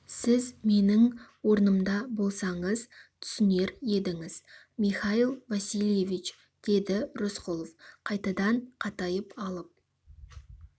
сіз менің орнымда болсаңыз түсінер едіңіз михаил васильевич деді рысқұлов қайтадан қатайып алып